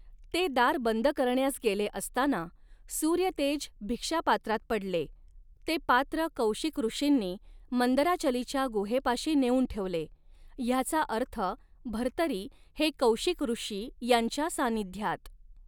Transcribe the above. ते दार बंद करण्यास गेले असताना सूर्यतेज भिक्षापात्रात पडले, ते पात्र कौशिक ऋषींनी मंदराचलीच्या गुहेपाशी नेऊन ठेवले, ह्याचा अर्थ भर्तरी हे कौशिकऋषी यांच्या सान्निध्यात